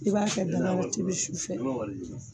I b'a kɛ dagarɔ ji bɛ